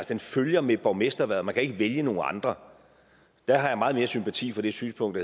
den følger med borgmesterhvervet og man kan ikke vælge nogen andre der har jeg meget mere sympati for det synspunkt